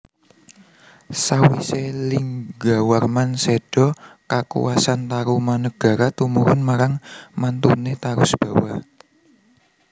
Sawisé Linggawarman séda kakuwasan Tarumanagara tumurun marang mantuné Tarusbawa